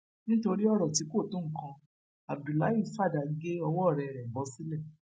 nítorí ọrọ tí kò tó nǹkan abdullahi fàdà gé ọwọ ọrẹ rẹ bọ sílẹ